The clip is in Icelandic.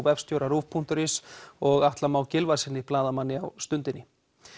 vefstjóra Rúv punktur is og Atla Má Gylfasyni blaðamanni á Stundinni